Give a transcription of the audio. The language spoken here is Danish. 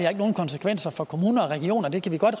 har nogen konsekvenser for kommuner og regioner og det kan vi godt